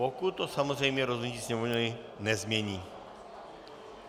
Pokud to samozřejmě rozhodnutí Sněmovny nezmění.